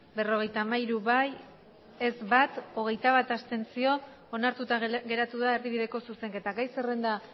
berrogeita hamairu bai bat ez hogeita bat abstentzio onartuta geratu da erdibideko zuzenketa gai zerrenda